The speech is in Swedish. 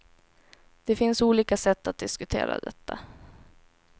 Det finns olika sätt att diskutera detta.